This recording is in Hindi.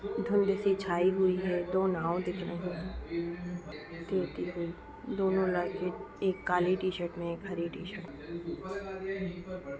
धुंध सी छाई हुई है दो नाव दिख रहे हैं दोनों लड़के एक काली टी-शर्ट में एक हरे टी-शर्ट में।